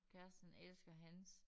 Kæreste han elsker hans